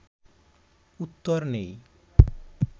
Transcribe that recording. উত্তর নেই